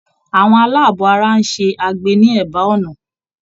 Àwọn aláàbọ̀ ara ń ṣe agbe ní ẹ̀bá ọ̀nà.